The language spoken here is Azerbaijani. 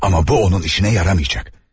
Amma bu onun işinə yaramayacaq.